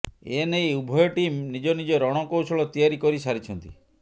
ଏନେଇ ଉଭୟ ଟିମ୍ ନିଜ ନିଜ ରଣକୌଶଳ ତିଆରି କରିସାରିଛନ୍ତି